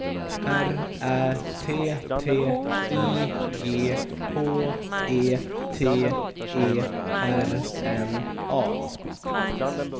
R Ä T T I G H E T E R N A